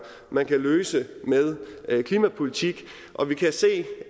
man kan løse med klimapolitik og vi kan se